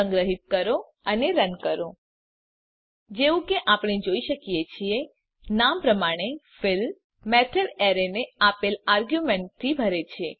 સંગ્રહીત કરો અને રન કરો જેવું કે આપણે જોઈ શકીએ છીએ નામ પ્રમાણે ફીલ મેથડ એરેને આપેલ આર્ગ્યુમેંટથી ભરે છે